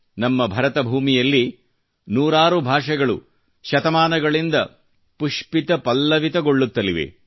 ನಮ್ಮ ಭಾರತ ಭೂಮಿಯಲ್ಲಿ ನೂರಾರು ಭಾಷೆಗಳು ಶತಮಾನಗಳಿಂದ ಪುಷ್ಪಿತ ಪಲ್ಲವಿತಗೊಳ್ಳುತ್ತಲಿವೆ